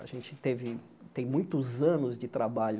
A gente teve tem muitos anos de trabalho